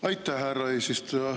Aitäh, härra eesistuja!